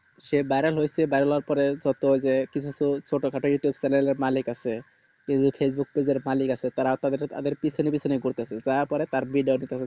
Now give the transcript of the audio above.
সে বাড়ান হয়েছে বাংলার পরে যে ছোট যে কিছু কিছু ছোট খাটো youtube chanel মালিক আছে facebook page এর মালিক আছে তারা তাদের পিছনে পিছনে ঘুরতেছে যা করে তার